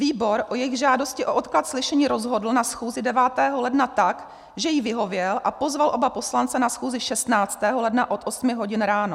Výbor o jejich žádosti o odklad slyšení rozhodl na schůzi 9. ledna tak, že jí vyhověl a pozval oba poslance na schůzi 16. ledna od 8 hodin ráno.